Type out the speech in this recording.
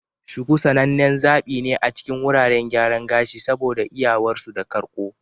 Shuku sanannen zaɓi ne a cikin wuraren gyaran gashi saboda iyawarsu da karko.